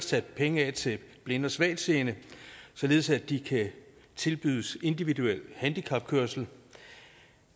sat penge af til blinde og svagtseende således at de kan tilbydes individuel handicapkørsel